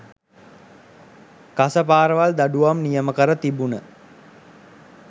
කසපාරවල් දඩුවම් නියම කර තිබුන